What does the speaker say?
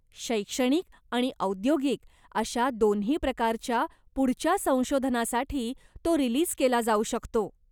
शैक्षणिक आणि औद्योगिक अशा दोन्ही प्रकारच्या पुढच्या संशोधनासाठी तो रिलीज केला जाऊ शकतो.